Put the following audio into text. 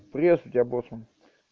пресс у тебя боцман